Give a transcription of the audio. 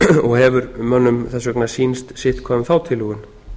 og hefur mönnum þess vegna sýnst sitthvað um þá tillögu